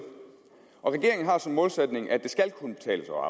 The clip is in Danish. og regeringen har som målsætning at det skal kunne betale sig